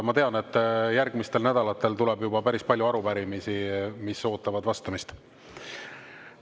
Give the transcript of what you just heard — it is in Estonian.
Ma tean, et järgmistel nädalatel tuleb päris palju arupärimisi, mis ootavad vastamist.